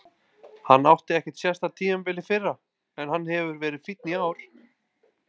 Hann átti ekkert sérstakt tímabil í fyrra en hann hefur verið fínn í ár.